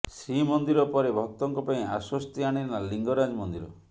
ଶ୍ରୀମନ୍ଦିର ପରେ ଭକ୍ତଙ୍କ ପାଇଁ ଆଶ୍ୱସ୍ତି ଆଣିଲା ଲିଙ୍ଗରାଜ ମନ୍ଦିର